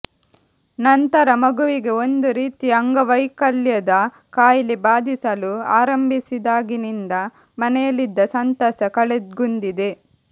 ನಂತರ ಮಗುವಿಗೆ ಒಂದು ರೀತಿಯ ಅಂಗವೈಕಲ್ಯದ ಕಾಯಿಲೆ ಬಾಧಿಸಲು ಆರಂಭಿಸಿದಾಗಿನಿಂದ ಮನೆಯಲ್ಲಿದ್ದ ಸಂತಸ ಕಳೆಗುಂದಿದೆ